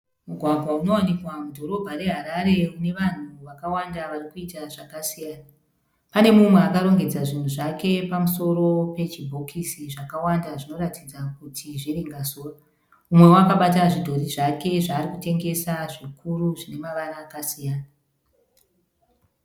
Mugwagwa unowanikwa mudhorobha reHarare unevanhu vakawanda vari kuita zvakasiyana . Pane mumwe akarongedza zvinhu zvake pamusoro pechibhokisi zvakawanda zvinoratidza kuti zviringazuva. Mumwewo akabata zvidhori zvake zvaarikutengesa zvikuru zvine mavara akasiyana .